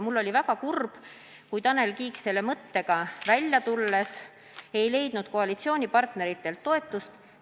Ma olin väga kurb, kui Tanel Kiik selle mõttega välja tulles koalitsioonipartneritelt toetust ei leidnud.